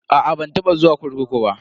A'a ban taba zuwa kurkuku ba.